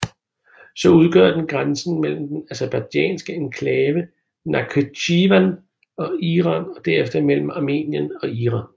Så udgør den grænsen mellem den aserbajdsjanske enklave Nakhitjevan og Iran og derefter mellem Armenien og Iran